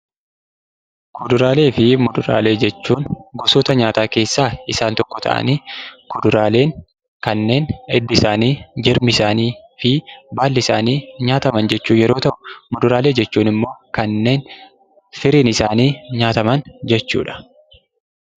Kuduraaleefi muduraalee jechuun gosoota nyaataa keessaa isaan tokko ta'anii, kuduraalee kanneen hiddi isaanii, baalli isaanii nyaataman jechuu yeroo ta'u, muduraaleen ammoo kanneen firiin isaanii nyaataman jechuudha.